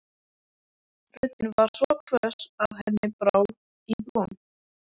Röddin var svo hvöss að henni brá í brún.